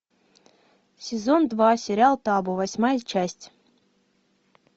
сезон два сериал табу восьмая часть